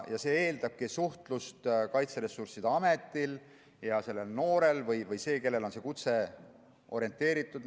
See eeldab suhtlust Kaitseressursside Ameti ja selle noore vahel, kellele on see kutse orienteeritud.